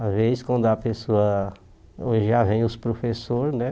Às vezes, quando a pessoa... Hoje já vem os professores, né?